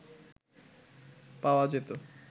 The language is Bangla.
পাওয়া যেতো